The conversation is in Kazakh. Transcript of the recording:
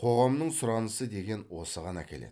қоғамның сұранысы деген осыған әкеледі